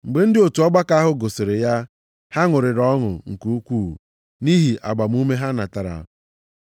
Mgbe ndị otu ọgbakọ ahụ gụsịrị ya, ha ṅụrịrị ọṅụ nke ukwuu nʼihi agbamume ha natara.